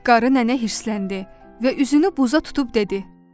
Qarı nənə hirsləndi və üzünü buza tutub dedi: